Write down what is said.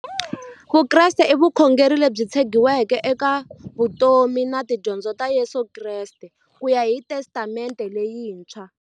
Vukreste i vukhongeri lebyi tshegiweke eka vutomi na tidyondzo ta Yesu Kreste kuya hi Testamente leyintshwa.